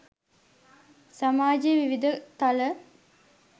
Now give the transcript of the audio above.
සමාජයේ විවිධ තල